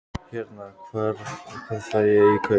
Hérna. hvað fæ ég í kaup?